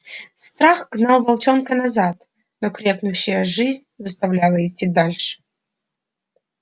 страх гнал волчонка назад но крепнущая жизнь заставляла идти дальше